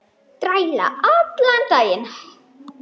Þræla allan daginn!